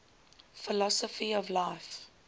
philosophy of life